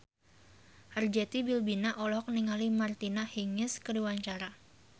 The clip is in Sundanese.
Arzetti Bilbina olohok ningali Martina Hingis keur diwawancara